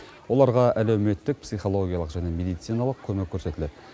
оларға әлеуметтік психологиялық және медициналық көмек көрсетіледі